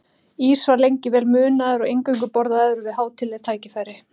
Ís var lengi vel munaður og eingöngu borðaður við hátíðleg tækifæri.